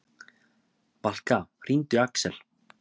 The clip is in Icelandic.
Valka, hringdu í Axel.